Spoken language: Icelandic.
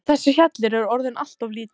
Þessi hjallur er orðinn allt of lítill.